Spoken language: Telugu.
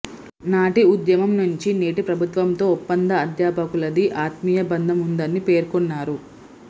నాటి ఉద్యమం నుంచి నేటి ప్రభుత్వంతో ఒప్పంద అధ్యాపకులది ఆత్మీయ బంధం ఉందని పేర్కొన్నారు